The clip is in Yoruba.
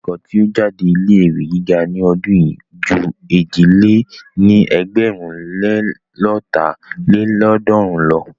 Akẹ́kọ̀ọ́ tí ó jáde ilé ìwé gíga ní ọdún yìí ju èjì lé ní ẹgbẹ̀rún le lọ́ta lélọ́ọ̀dúnrún lọ.